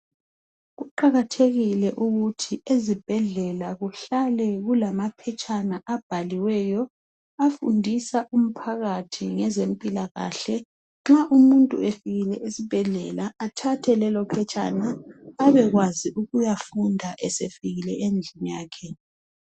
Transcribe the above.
Kuqakathekile ukuthi ezibhedlela kuhlale kulamaphetshana abhaliweyo afundisa umphakathi ngeze mpilakahle nxa umuntu sefikile esibhedlela athathe lelophetshena abekwazi ukuyafunda sefikile lapha ahlala khona